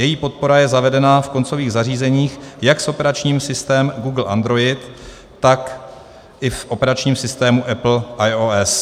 Její podpora je zavedena v koncových zařízeních jak s operačním systémem Google Android, tak i v operačním systému Apple iOS.